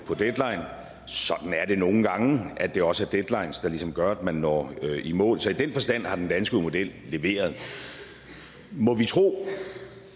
deadline sådan er det nogle gange at det også er deadlines der ligesom gør at man når i mål så i den forstand har den danske model leveret må vi tro